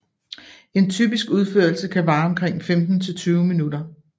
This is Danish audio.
En typisk udførelse kan vare omkring femten til tyve minutter